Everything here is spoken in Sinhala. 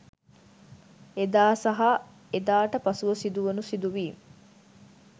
එදා සහ එදාට පසුව සිදුවුනු සිදුවීම්